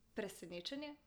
Presenečenje?